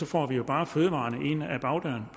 får vi bare fødevarerne ind ad bagdøren